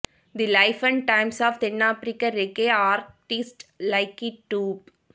the life and times of தென்னாபிரிக்க reggae artist Lucky dupe